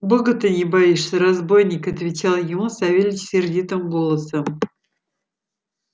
бога ты не боишься разбойник отвечал ему савельич сердитым голосом